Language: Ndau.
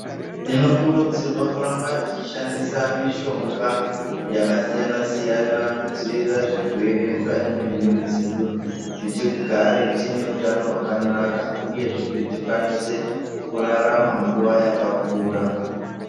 Tinokurudzirwa kuramba tichishandisa mishonga yakasiyana siyana kudzivirira zvirwere mukati mwemwiri dzedu kuti tigare tine hutano hwakakanaka uyezve kuti tikwanise kurarama nguva yakakura.